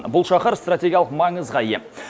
бұл шахар стратегиялық маңызға ие